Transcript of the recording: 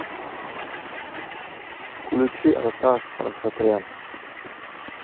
включи арташ асатрян